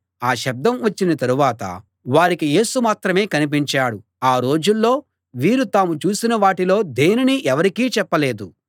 ఆ శబ్దం వచ్చిన తరువాత వారికి యేసు మాత్రమే కనిపించాడు ఆ రోజుల్లో వీరు తాము చూసిన వాటిలో దేనినీ ఎవరికీ చెప్పలేదు